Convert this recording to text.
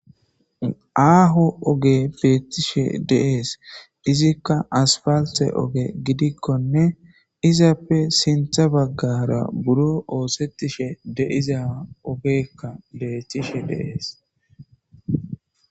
Aaho oge beettishe deees. Izikka aspalthe oge gidikkonne izappe sintha baggara biron oosettishe diza ogeekka beetishe dees.